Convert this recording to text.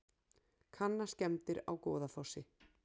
Kanna skemmdir á Goðafossi